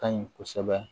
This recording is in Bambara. Ka ɲi kosɛbɛ